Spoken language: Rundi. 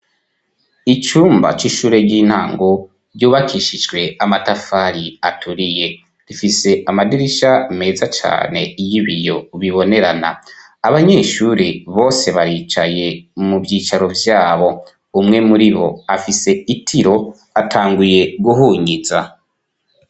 Icumba c'ishure ry'intango ryubakishijwe amatafari aturiye rifise amadirisha meza cane y'ibiyo bibonerana abanyeshure bose baricaye mu vyicaro vyabo umwe muri bo afise itiro atanguye guhunyiza.